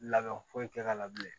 Labɛn foyi tɛ k'a la bilen